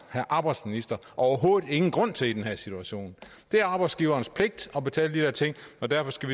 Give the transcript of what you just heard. herre arbejdsminister overhovedet ingen grund til i den her situation det er arbejdsgiverens pligt at betale de der ting og derfor skal